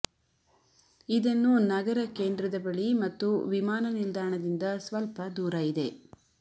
ಇದನ್ನು ನಗರ ಕೇಂದ್ರದ ಬಳಿ ಮತ್ತು ವಿಮಾನನಿಲ್ದಾಣದಿಂದ ಸ್ವಲ್ಪ ದೂರ ಇದೆ